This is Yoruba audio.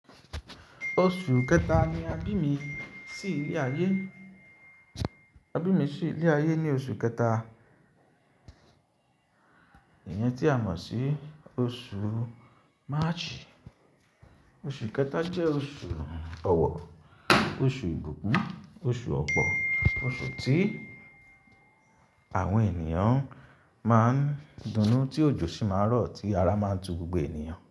Oṣù kẹta ni abí mi sì ilé ayé. Abí mi sì ilé ayé ní oṣù kẹta, Iyen tí a mọ̀ sí oṣù March. Oṣù kẹta jẹ́ oṣù ọwọ, oṣù ìbùkún, oṣù ọ̀pọ̀, oṣù tí àwọn ènìyàn máa ń dunnú tí òjò sì máa ń rọ̀, tí ara máa ń ju gbogbo ènìyàn.